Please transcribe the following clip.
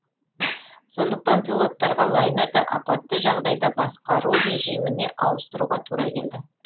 сондықтан пилоттарға лайнерді апатты жағдайда басқару режиміне ауыстыруға тура келді